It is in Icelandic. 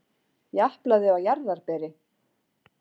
Japlaði á jarðarberi.